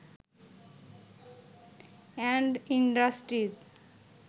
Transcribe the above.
and industries